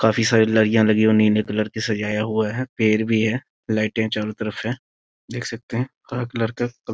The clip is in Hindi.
काफी सारी लड़ियाँ लगी हुई नीले कलर से सजाया हुआ है पेड़ भी है लाइटें चारों तरफ हैं देख सकते है हरा कलर का --